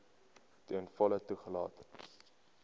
ten volle toegelaat